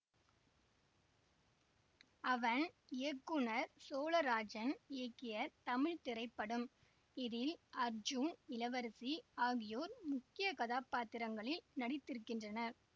அவன் இயக்குனர் சோழராஜன் இயக்கிய தமிழ் திரைப்படம் இதில் அர்ஜூன் இளவரசி ஆகியோர் முக்கிய கதாபாத்திரங்களில் நடித்திருக்கின்றனர்